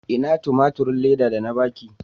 Ina tumaturin Leda da na ba ki?